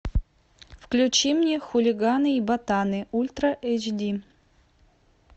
включи мне хулиганы и ботаны ультра эйч ди